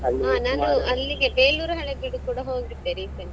ಅಲ್ಲಿಗೆ Beluru Halebeedu ಕೂಡ ಹೋಗಿದ್ದೆ recent ಆಗಿ.